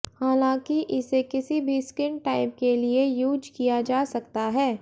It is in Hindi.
हालांकि इसे किसी भी स्किन टाइप के लिए यूज किया जा सकता है